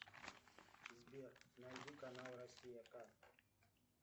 сбер найди канал россия к